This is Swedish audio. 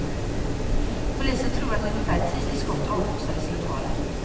Polisen tror att ungefär tio skott avlossades i lokalen.